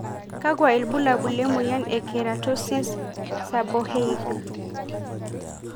Kakwa ibulabu lemoyian e Keratosis, seborrheic?